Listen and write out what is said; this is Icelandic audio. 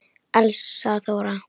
Elsa Þóra.